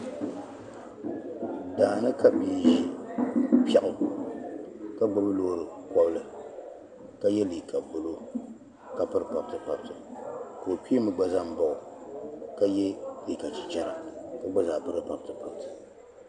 Daani ka bii ʒi pɛɣu ka gbubi lɔɔri kobili ka ye liiga blue ka piri pabiti pabiti ka ɔkpeemi gba zaŋ baɣɔ ka ye liiga chi chara ka gba zaa piri pabiti pabiti